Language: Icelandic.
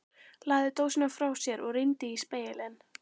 Lagði dósina frá sér og rýndi í spegilinn.